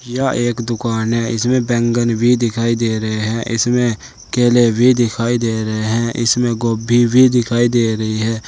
यह एक दुकान है इसमें बैंगन भी दिखाई दे रहे हैं इसमें केले भी दिखाई दे रहे हैं इसमें गोभी भी दिखाई दे रही है।